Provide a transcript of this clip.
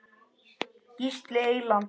Gísli Eyland.